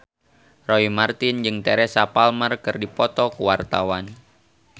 Roy Marten jeung Teresa Palmer keur dipoto ku wartawan